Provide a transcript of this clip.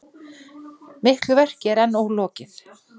Miklu verki er enn ólokið